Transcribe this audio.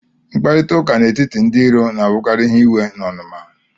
Mkparịta ụka n'etiti ndị iro na-abụkarị ihe iwe na onuma